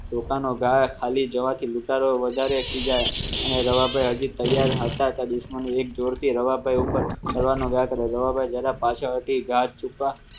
દુકાનો ખાલી જવાથી ઉતારવા વધારે ખીજાય અને રવાભાઈ હજી તૈયાર હતા દુશ્મનો એક જોરથી રવાપર ઉપર કરવાનો